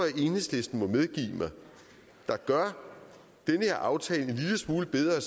at enhedslisten må medgive mig der gør den her aftale en lille smule bedre